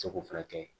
Seko fɛnɛ kɛ